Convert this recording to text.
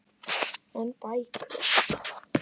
En bækur?